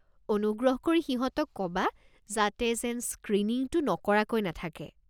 অনুগ্ৰহ কৰি সিহঁতক ক'বা যাতে যেন স্ক্ৰীনিংটো নকৰাকৈ নাথাকে।